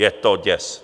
Je to děs.